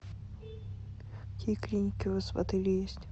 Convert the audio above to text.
какие клиники у вас в отеле есть